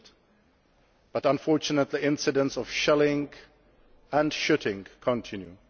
freed, but unfortunately incidences of shelling and shooting continue.